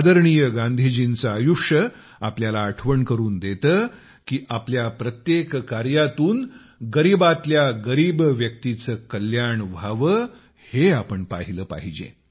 आदरणीय गांधीजींचे आयुष्य आपल्याला आठवण करून देते की आपल्या प्रत्येक कार्यातून गरिबातल्या गरीब व्यक्तीचे कल्याण व्हावे हे आपण पाहिले पाहिजे